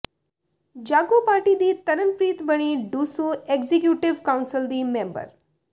ਜਾਗੋ ਪਾਰਟੀ ਦੀ ਤਰਨਪ੍ਰੀਤ ਬਣੀ ਡੂਸੂ ਏਗਜੀਕਿਊਟਿਵ ਕਾਉਂਸਿਲ ਦੀ ਮੈਂਬਰ